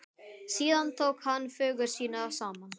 Síðan tók hann föggur sínar saman.